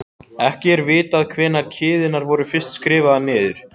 Ekki er vitað hvenær kviðurnar voru fyrst skrifaðar niður.